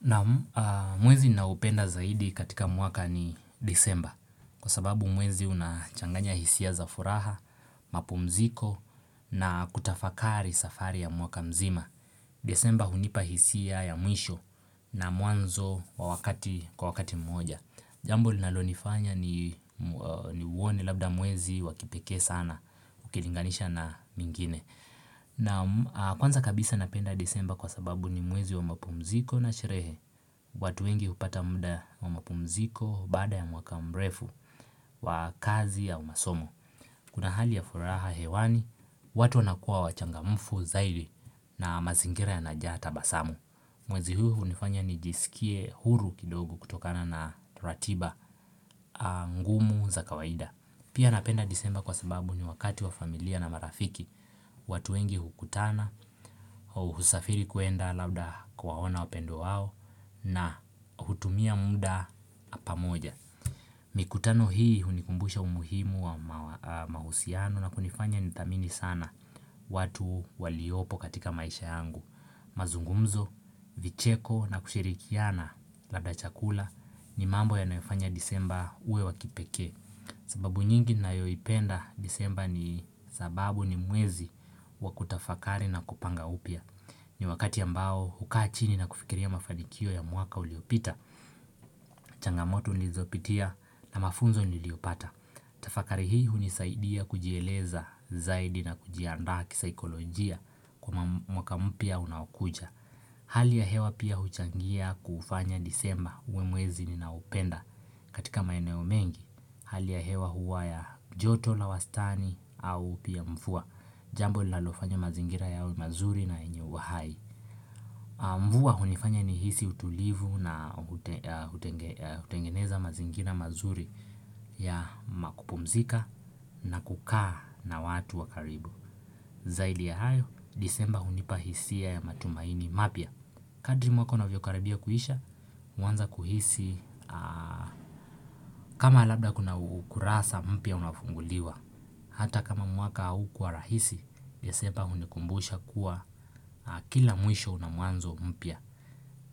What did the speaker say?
Naam mwezi naupenda zaidi katika mwaka ni desemba kwa sababu mwezi unachanganya hisia za furaha, mapumziko na kutafakari safari ya mwaka mzima. Desemba hunipa hisia ya mwisho na muanzo kwa wakati moja. Jambo linalonifanya ni uone labda mwezi wa kipekee sana ukilinganisha na mingine. Naam kwanza kabisa napenda disemba kwa sababu ni mwezi wa mapumziko na sherehe watu wengi hupata mda wa mapumziko baada ya mwaka mrefu wa kazi ya au masomo Kuna hali ya furaha hewani watu wanakuwa wachangamufu zaidi na mazingira yanajaa tabasamu Mwezi huu hunifanya nijisikie huru kidogo kutokana na ratiba ngumu za kawaida Pia napenda disemba kwa sababu ni wakati wa familia na marafiki watu wengi hukutana, husafiri kuenda labda kuwaona wapendwa wao na hutumia muda pamoja. Mikutano hii hunikumbusha umuhimu wa mahusiano na kunifanya nithamini sana watu waliopo katika maisha yangu. Mazungumzo, vicheko na kushirikiana labda chakula ni mambo yanayofanya disemba uwe wa kipekee. Sababu nyingi ninayoipenda disemba ni sababu ni mwezi wa kutafakari na kupanga upia. Ni wakati ambao hukaa chini na kufikiria mafanikio ya mwaka uliopita, changamoto nilizopitia na mafunzo niliopata. Tafakari hii hunisaidia kujieleza zaidi na kujianda kisaikolojia kwa mwaka mpya unakuja. Hali ya hewa pia huchangia kufanya disemba uwe mwezi ninaupenda katika maeneo mengi. Hali ya hewa huwa ya joto la wastani au pia mvua. Jambo linalofanya mazingira yawe mazuri na yenye uhai. Mvua hunifanya nihisi utulivu na utengeneza mazingira mazuri ya makupumzika na kukaa na watu wa karibu. Zaidi ya hayo disemba hunipa hisia ya matumaini mapia. Kadri mwaka unavyokarabia kuisha, uanza kuhisi. Kama labda kuna ukurasa mpya unafunguliwa. Hata kama mwaka haukuwa rahisi, disemba hunikumbusha kuwa kila mwisho una mwanzo mpya.